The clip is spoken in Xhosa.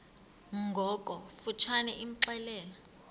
ngokofu tshane imxelele